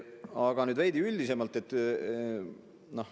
Aga nüüd veidi üldisemalt.